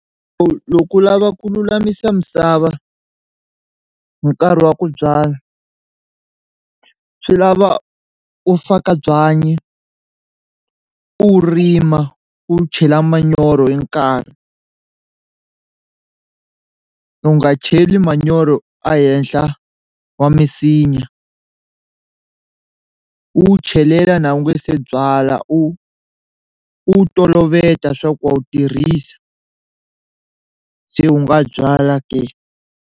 Loko u lava ku lulamisa misava hi nkarhi wa ku byala swi lava u faka byanyi u rima u wu chela manyoro hi nkarhi u nga cheli manyoro ehenhla wa misinya u wu chelela na u nga se byala u u toloveta swa ku wa wu tirhisa se u nga byala ke.